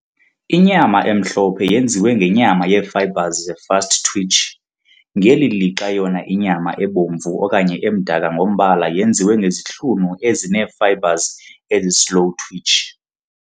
Inyama emhlophe yenziwe ngenyama yeefibres ze-fast-twitch, ngeli lixa yona inyama ebomvu okanye emdaka ngombala yenziwe ngezihlunu ezinee-fibres ezi-slow-twitch.